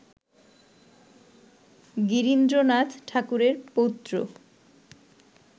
গিরীন্দ্রনাথ ঠাকুরের পৌত্র